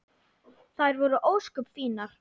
Þær voru ósköp fínar.